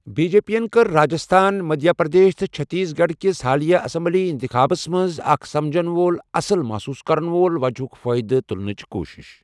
B جے پیَن کٔر راجِستھان، مدھیہ پردیش تہٕ چھتیس گَڑھ کِس حالیہ اٮ۪سَمبٕلی اِنتِخابَس مَنٛز اَکھ سَمجَن وول 'اَصٕل مُحسوٗس کَرَن وول وَجَہ'ہٗك فٲیدٕ تٗلنچ كوُشِس ۔